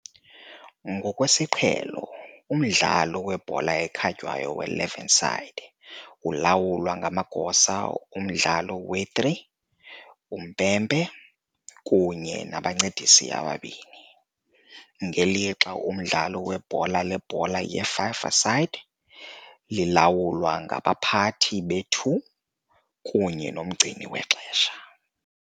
Ngokwesiqhelo, umdlalo webhola ekhatywayo we-11-side ulawulwa ngamagosa omdlalo we-3, uMpempe kunye nabaNcedisi ababini, ngelixa umdlalo webhola lebhola le-5-a-side lilawulwa ngabaPhathi be-2 kunye noMgcini wexesha.